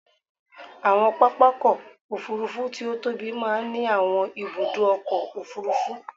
Àwọn pápákọ̀ òfúrufú tí ó tóbi máa ń ní àwọn ibùdó ọkọ̀ òfurufú.